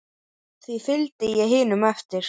Því fylgdi ég hinum eftir.